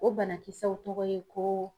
O banakisɛw tɔgɔ ye ko